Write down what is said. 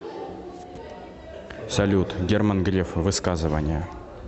салют герман греф высказывания